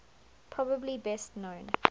probably best known